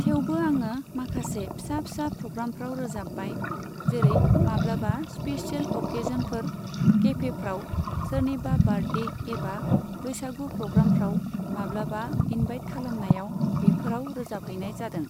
थेवबो आङो माखासे फिसा फिसा प्रग्रामफ्राव रोजाबबाय। जेरै, माब्लाबा स्पिसियेल अकेजनफोर, केफेफ्राव, सोरनिबा बार्टडे एबा बैसागु प्रग्रामफ्राव माब्लाबा इनभाइट खालामनायाव बेफोराव रोजाबहैनाय जादों।